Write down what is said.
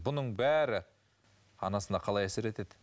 бұның бәрі анасына қалай әсер етеді